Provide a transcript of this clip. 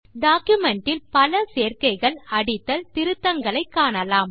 document இல் பல சேர்க்கைகள் அடித்தல் திருத்தங்களை காணலாம்